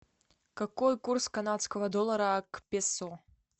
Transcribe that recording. какой курс канадского доллара к песо